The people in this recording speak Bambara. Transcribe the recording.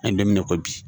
An ye don min na i ko bi